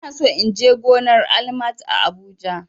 Ina so in je gonar Almat a habuja